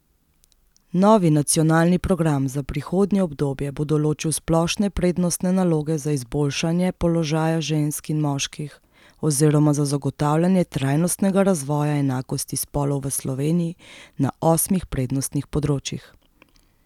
Novi nacionalni program za prihodnje obdobje bo določil splošne prednostne naloge za izboljšanje položaja žensk in moških oziroma za zagotavljanje trajnostnega razvoja enakosti spolov v Sloveniji na osmih prednostnih področjih.